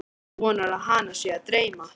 Vonar að hana sé að dreyma.